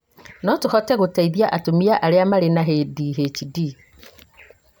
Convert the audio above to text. no tũhote gũteithia atumia arĩa marĩ na ADHD